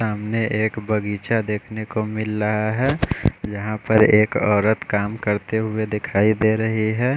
सामने एक बगीचा देखने को मिल रहा है यहाँ पर एक औरत काम करते हुए दिखाई दे रही है।